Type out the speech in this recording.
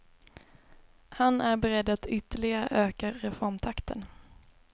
Han är beredd att ytterligare öka reformtakten.